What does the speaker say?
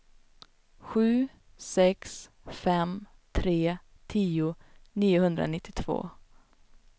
sju sex fem tre tio niohundranittiotvå